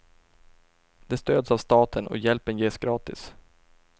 Det stöds av staten och hjälpen ges gratis.